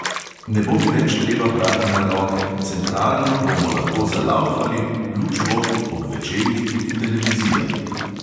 Ne bo mi več treba prati na roke, centralno bomo lahko "zalaufali", luč bo, ob večerih tudi televizija.